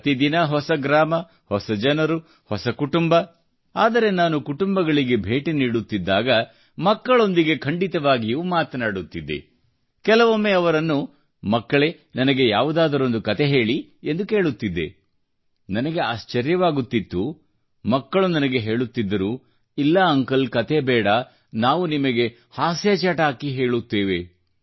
ಪ್ರತಿ ದಿನ ಹೊಸ ಗ್ರಾಮ ಹೊಸ ಜನರು ಹೊಸ ಕುಟುಂಬ ಆದರೆ ನಾನು ಕುಟುಂಬಗಳಿಗೆ ಭೇಟಿ ನೀಡುತ್ತಿದ್ದಾಗ ಮಕ್ಕಳೊಂದಿಗೆ ಖಂಡಿತವಾಗಿಯೂ ಮಾತನಾಡುತ್ತಿದ್ದೆ ಮತ್ತು ಕೆಲವೊಮ್ಮೆ ಅವರನ್ನು ಮಕ್ಕಳೇ ನನಗೆ ಯಾವುದಾದರೊಂದು ಕತೆ ಹೇಳಿ ಎಂದು ಕೇಳುತ್ತಿದ್ದೆ ನನಗೆ ಆಶ್ಚರ್ಯವಾಗುತ್ತಿತ್ತು ಮಕ್ಕಳು ನನಗೆ ಹೇಳುತ್ತಿದ್ದರು ಇಲ್ಲ ಅಂಕಲ್ ಕತೆ ಬೇಡಾ ನಾವು ನಿಮಗೆ ಹಾಸ್ಯದ ಪ್ರಸಂಗ ಹೇಳುತ್ತೇವೆ